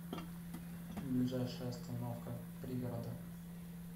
ближайшая остановка пригорода